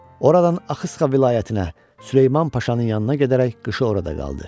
Oradan Axısqa vilayətinə, Süleyman Paşanın yanına gedərək qışı orada qaldı.